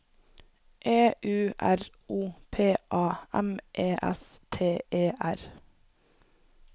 E U R O P A M E S T E R